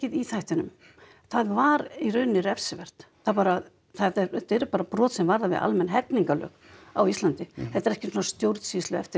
í þættinum það var í rauninni refsivert þetta eru bara brot sem varða við almenn hegningarlög á Íslandi þetta er ekki svona stjórnsýslueftirlit